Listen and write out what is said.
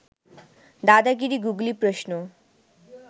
দাদাগিরি googly প্রশ্ন